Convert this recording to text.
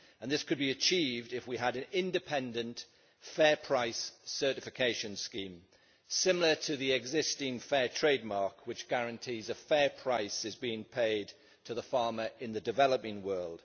This could be achieved if we had an independent fair price certification scheme, similar to the existing Fairtrade mark which guarantees a fair price is being paid to the farmer in the developing world.